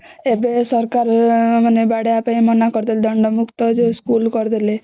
ଏବେ ସରକାର ବାଡେଇବା ପାଇଁ ମନା କରିଦେଲେ ମାନେ ଦଣ୍ଡ ମୁକ୍ତ ଯୋଉ ସ୍କୁଲ କରିଦେଲେ